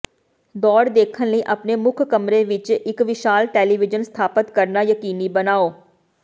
ਦੌੜ ਦੇਖਣ ਲਈ ਆਪਣੇ ਮੁੱਖ ਕਮਰੇ ਵਿਚ ਇਕ ਵਿਸ਼ਾਲ ਟੈਲੀਵੀਜ਼ਨ ਸਥਾਪਤ ਕਰਨਾ ਯਕੀਨੀ ਬਣਾਓ